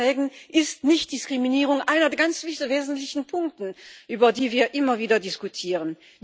In den Verträgen ist die Nichtdiskriminierung einer der ganz wesentlichen Punkte, über die wir immer wieder diskutieren.